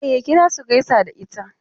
E, ya kira su gaisa da ita.